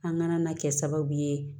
An kana na kɛ sababu ye